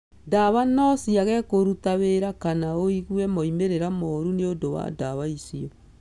Ndawa no ciage kũruta wĩra kana ũgĩe moimĩriro moru nĩũndũ wa ndawa icio.